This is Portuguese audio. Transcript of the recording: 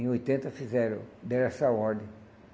Em oitenta fizeram, deram essa ordem.